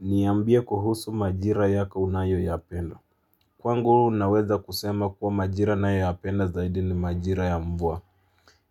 Niambie kuhusu majira yako unayoyapenda. Kwangu naweza kusema kuwa majira nayoyapenda zaidi ni majira ya mvua.